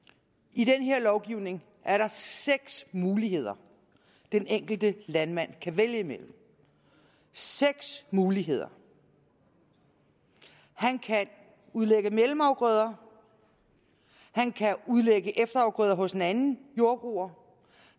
i den her lovgivning er der seks muligheder den enkelte landmand kan vælge mellem seks muligheder han kan udlægge mellemafgrøder han kan udlægge efterafgrøder hos en anden jordbruger